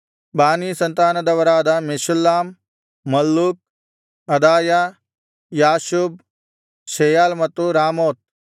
ಬಾನೀ ಸಂತಾನದವರಾದ Meshullam Malluch Adaiah Jashub Sheal ಮತ್ತು ರಾಮೋತ್